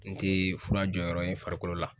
N te fura jɔyɔrɔ ye farikolo la.